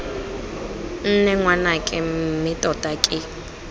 nne ngwanake mme tota ke